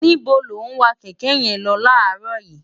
níbo lo wa kẹ̀kẹ́ yẹn lọ láàárọ̀ yìí?